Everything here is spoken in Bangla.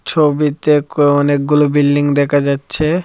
ছবিতে ক অনেকগুলো বিল্ডিং দেকা যাচ্ছে।